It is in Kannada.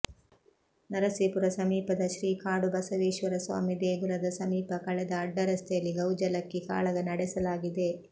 ನರಸೀಪುರ ಸಮೀಪದ ಶ್ರೀ ಕಾಡುಬಸವೇಶ್ವರಸ್ವಾಮಿ ದೇಗುಲದ ಸಮೀಪ ಕಳೆದ ಅಡ್ಡರಸ್ತೆಯಲ್ಲಿ ಗೌಜಲಕ್ಕಿ ಕಾಳಗ ನಡೆಸಲಾಗಿದೆ